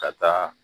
Ka taa